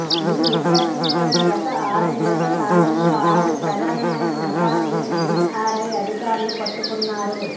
ఈ నేపథ్యంలోనే గత ఆరు నెలల కాలంలో ఆరు ప్రధానమైన ముఠాలని డీఆర్ఐ అధికారులు పట్టుకున్నారు